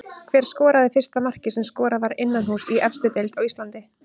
Hver skoraði fyrsta markið sem skorað var innanhúss í efstu deild á Íslandi?